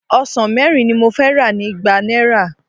Ọsàn mẹ́rin ni mo fẹ́ rà ní igba náírà.